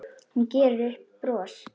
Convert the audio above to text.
Hún gerir sér upp bros.